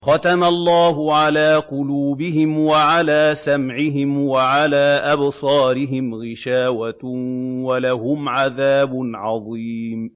خَتَمَ اللَّهُ عَلَىٰ قُلُوبِهِمْ وَعَلَىٰ سَمْعِهِمْ ۖ وَعَلَىٰ أَبْصَارِهِمْ غِشَاوَةٌ ۖ وَلَهُمْ عَذَابٌ عَظِيمٌ